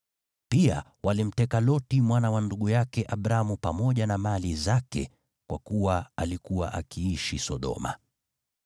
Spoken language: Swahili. Pia walimteka Loti mwana wa ndugu yake Abramu pamoja na mali zake, kwa kuwa alikuwa akiishi Sodoma.